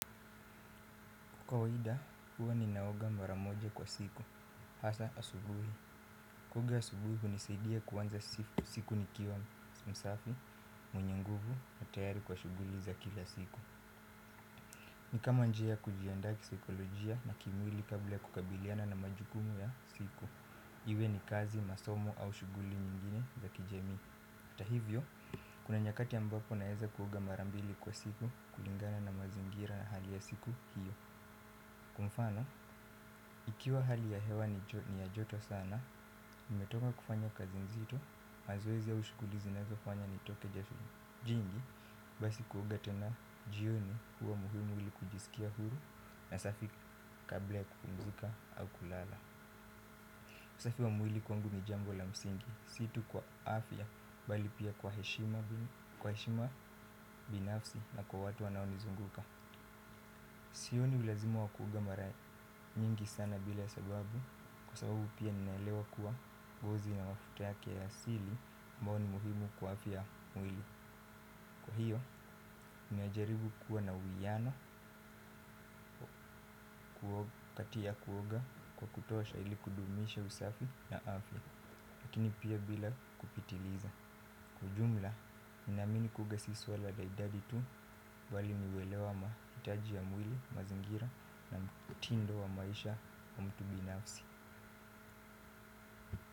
Kikawaida, huwa ninaoga maramoja kwa siku, hasa asubuhi. Kuoga asubuhi, hunisaidia kuanza siku nikiwa msafi, mwenye nguvu na tayari kwa shughuli za kila siku. Ni kama njia kujianda kisaikolojia na kimwili kabla kukabiliana na majukumu ya siku. Iwe ni kazi, masomo au shughuli nyingine za kijamii. Atahivyo, kuna nyakati ambapo naweza kuoga marambili kwa siku kulingana na mazingira na hali ya siku hiyo. Kwamfano, ikiwa hali ya hewa ni ya joto sana, nimetoka kufanya kazi nzito, mazoezi au ushughuli zina zofanya ni toke jasho jingi. Basi kuoga tena jioni huwa muhimu mwili kujisikia huru na safi kabla ya kupumzika au kulala usafi wa mwili kwangu nijambo la msingi, si tu kwa afya bali pia kwa heshima binafsi na kwa watu wanaonizunguka. Sioni ulazima wa kuoga mara mingi sana bila sababu kwa sababu pia ninaelewa kuwa ngozi na mafuta yake ya asili mbayo ni muhimu kwa afya mwili. Kwa hiyo ninajaribu kuwa na uiwiano kukati ya kuoga kwa kutosha ili kudumisha usafi na afya. Lakini pia bila kupitiliza. Kijumla, ninamini kuoga siswa la idadi tu wali miwelewa mahitaji ya mwili, mazingira na mtindo wa maisha wa mtu binafsi.